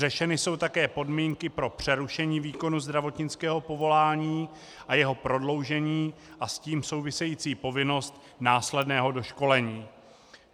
Řešeny jsou také podmínky pro přerušení výkonu zdravotnického povolání a jeho prodloužení a s tím související povinnost následného doškolení.